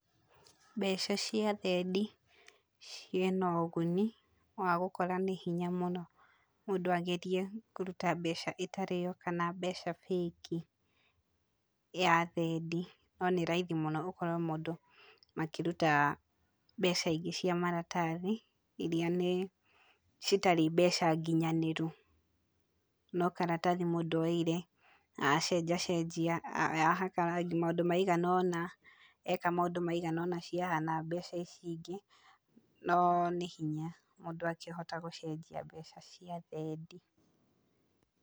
Mbeca cia thendi cirĩ na ũguni wa gũkorwo nĩ hinya mũno mũndũ agerie kũruta mbeca itarĩ yo, kana mbeca fake ya thendi. No nĩ raithi mũno gũkorwo mũndũ makĩruta mbeca iri cia maratathi iria nĩ citari mbeca nginyanĩru. No karatathi mũndũ oire acenjacenjia, ahaka rangi, maũndũ maigana ũna, eka maũndũ maigana ũna ciahana mbeca ici ingĩ. No nĩ hinya mũndũ akĩhota gũcenjia mbeca cia thendi.